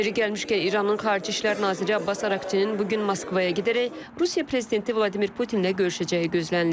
Yeri gəlmişkən, İranın xarici işlər naziri Abbas Araqçinin bu gün Moskvaya gedərək Rusiya prezidenti Vladimir Putinlə görüşəcəyi gözlənilir.